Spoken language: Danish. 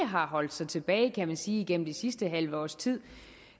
har holdt sig tilbage kan man sige igennem det sidste halve års tid